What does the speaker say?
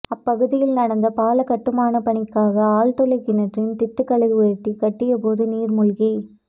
அப்பகுதியில் நடந்த பால கட்டுமான பணிக்காக ஆழ்துளை கிணற்றின் திட்டுகளை உயர்த்தி கட்டியபோது நீர்முழ்கி